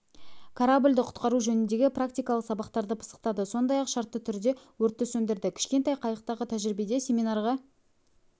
кораблді құтқару жөніндегі практикалық сабақтарды пысықтады сондай-ақ шартты түрде өртті сөндірді кішкентай қайықтағы тәжірибеде семинарға